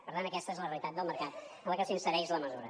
per tant aquesta és la realitat del mercat en la que s’insereix la mesura